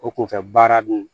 O kunfɛ baara dun